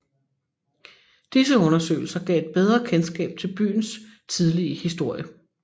Disse undersøgelser gav et bedre kendskab til byens tidlige historie